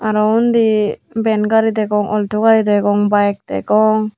aro undi ven gari degong awlto gari yo degong byk degong.